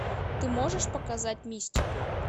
ты можешь показать мистику